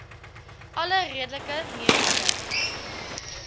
alle redelike mediese